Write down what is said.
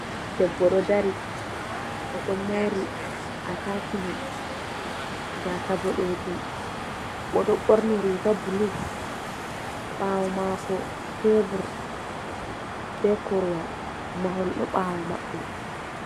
Debbo ɗo dari, o ɗo mori a tacimen gasa boɗejum, o ɗo borni riga bulu, ɓawo mako tebur be korwal mahol ɗo ɓawo maɓɓe.